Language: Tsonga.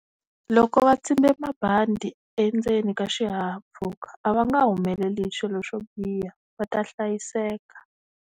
Loko va tsimbe mabandi endzeni ka xihahampfhuka a va nga humeleli hi swilo swo biha va ta hlayiseka.